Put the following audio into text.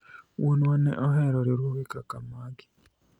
wuonwa ne ohero riwruoge kaka magi